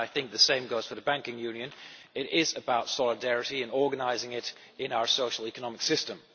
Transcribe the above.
the same goes for the banking union is about solidarity and organising it in our social economic system.